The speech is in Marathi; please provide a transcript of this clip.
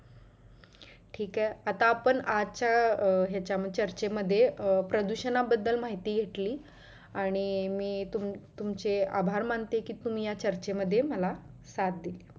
ठीक आहे आता आपण आजच्या ह्याच्या चर्चेमध्ये प्रदुषणा बद्दल माहिती घेतली आणि मी तुम तुमचे आभार मानते कि तुम्ही या चर्चे मध्ये मला साथ दिली.